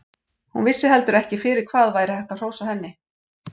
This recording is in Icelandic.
Hún vissi heldur ekki fyrir hvað væri hægt að hrósa henni.